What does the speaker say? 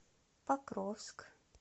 покровск